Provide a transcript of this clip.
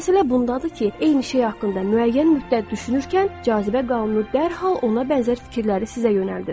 Məsələ bundadır ki, eyni şey haqqında müəyyən müddət düşünərkən cazibə qanunu dərhal ona bənzər fikirləri sizə yönəldir.